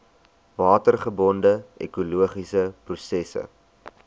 watergebonde ekologiese prosesse